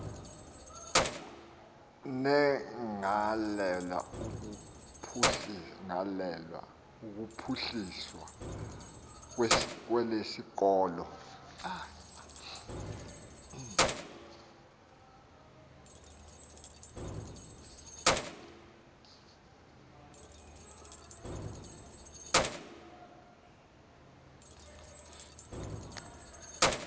negalelo kuphuhliso lwesikolo